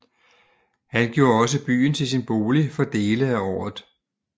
Han gjorde også byen til sin bolig for dele af året